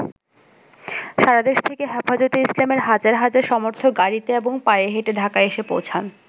সারাদেশ থেকে হেফাজতে ইসলামের হাজার হাজার সমর্থক গাড়ীতে এবং পায়ে হেঁটে ঢাকায় এসে পৌঁছান।